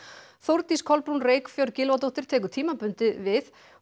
Þórdís Kolbrún Reykfjörð Gylfadóttir tekur tímabundið við